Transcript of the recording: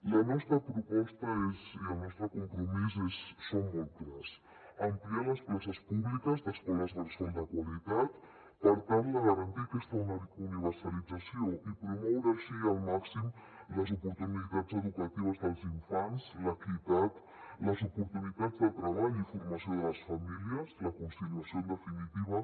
la nostra proposta i el nostre compromís són molt clars ampliar les places públiques d’escoles bressol de qualitat per tal de garantir aquesta universalització i promoure així al màxim les oportunitats educatives dels infants l’equitat les oportunitats de treball i formació de les famílies la conciliació en definitiva